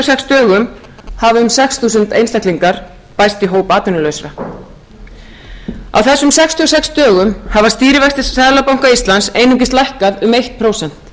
sex dögum hafa um sex þúsund einstaklingar bæst í hóp atvinnulausra á þessum sextíu og sex dögum hafa stýrivextir seðlabanka íslands einungis lækkað um eitt prósent